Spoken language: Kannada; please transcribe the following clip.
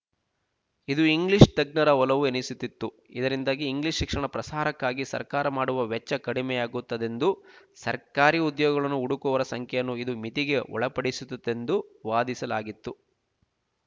ಇದು ಇಂಗ್ಲೀಷ್ ತಜ್ಞರ ಒಲವು ಎನಿಸಿತಿತ್ತು ಇದರಿಂದಾಗಿ ಇಂಗ್ಲೀಷ್ ಶಿಕ್ಷಣ ಪ್ರಸಾರಕ್ಕಾಗಿ ಸರ್ಕಾರ ಮಾಡುವ ವೆಚ್ಚ ಕಡಿಮೆಯಾಗುತ್ತದೆಂದೂ ಸರ್ಕಾರಿ ಉದ್ಯೋಗಗಳನ್ನು ಹುಡುಕುವವರ ಸಂಖ್ಯೆಯನ್ನು ಇದು ಮಿತಿಗೆ ಒಳಪಡಿಸುತ್ತದೆಂದೂ ವಾದಿಸಲಾಗಿತ್ತು